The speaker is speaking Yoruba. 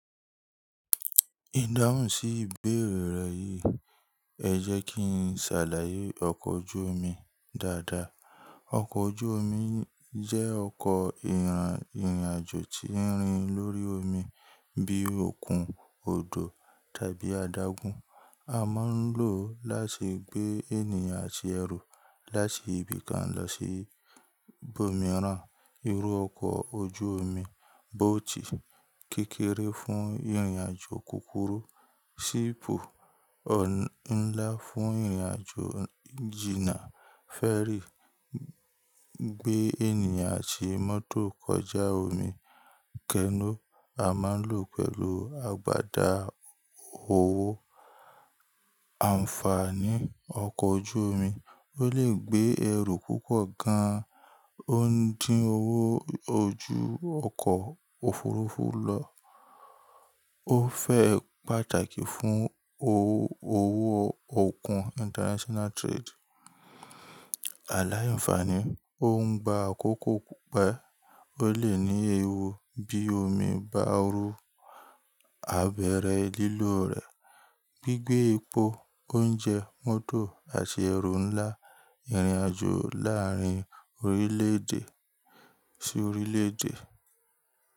Ìdáhùn sí ìbéèrè rẹ yìí, ẹ jẹ́ kí n ṣàlàyé ọkọ̀ ojú omi dáadáa. Ọkọ̀ ojú omi jẹ́ ọkọ̀ ìràn ìrìnàjò tí ń rìn lórí omi bíi òkun, odò tàbí adágún. A máa ń lò ó láti gbé ènìyàn àti ẹrù láti ibi kan lọ sí ibòmíràn. Irú ọkọ̀ ojú omi, boat kékere fún ìrìnàjò kúkúrú, ship ò ń ńlá fún ìrìnàjò jìnà, ferry gbé ènìyàn àti mọ́tò kọjá omi, canoe a máa ń lò pẹ̀lú agbada òwó. Àǹfààní ọkọ̀ ojú omi, ó lè gbé ẹrù púpọ̀ gan, ó ń dín owó ojú ọkọ̀ òfurufú lọ, ó fẹ́ pàtàkì fún owó òkun international trade. Àlàńfààní, ó ń gba àkókò kope, ó lè ní ewu bí omi bá ru, abẹ̀rẹ̀ lílò rẹ̀, gbígbé epo, oúnjẹ, mọ́tò àti ẹrù ńlá, ìrìnàjò láàárín orílẹ̀-èdè sí orílẹ̀-èdè.